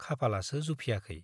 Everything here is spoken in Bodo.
खाफालासो जुफियाखै।